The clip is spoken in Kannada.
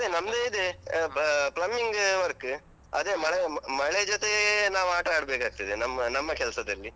ನಮ್ದು ಇದೆ plumbing work ಅದೇ ಮಳೆ ಜೊತೆ ನಾವು ಆಟ ಆಡ್ಬೇಕು ಆಗ್ತದೆ, ನಮ್ಮ ನಮ್ಮ ಕೆಲ್ಸದಲ್ಲಿ.